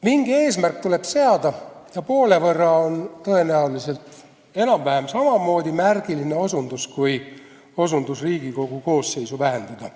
Mingi eesmärk tuleb seada ja poole võrra vähendamine on tõenäoliselt enam-vähem samamoodi märgiline osutus kui see, et Riigikogu koosseisu tuleb vähendada.